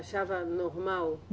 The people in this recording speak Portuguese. Achava normal?